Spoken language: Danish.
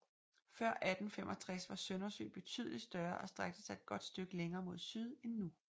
Før 1865 var Søndersø betydeligt større og strakte sig et godt stykke længere mod syd end nu